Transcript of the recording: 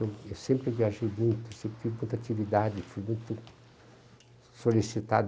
Eu sempre viajei muito, sempre tive muita atividade, fui muito solicitado.